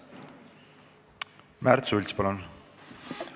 Märt Sults, palun!